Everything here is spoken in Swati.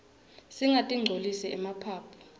singatinqcolisi emaphaphu